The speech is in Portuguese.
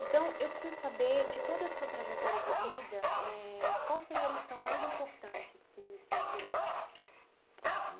Então, eu preciso saber, de toda a sua trajetória de vida eh, qual seria a lição mais importante que o senhor tirou?